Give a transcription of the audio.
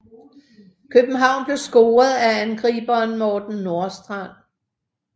København blev scoret af angriberen Morten Nordstrand